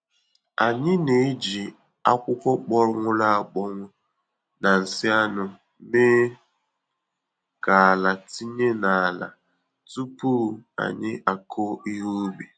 Anyị na-eji akwụkwọ kpọnwụru akpọnwụ na nsị anụ mee ka ala tinye n'ala tupu anyị akụ ihe ubi.